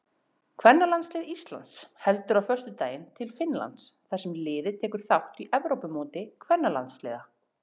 Kvennalandslið Íslands heldur á föstudaginn til Finnlands þar sem liðið tekur þátt í Evrópumóti kvennalandsliða.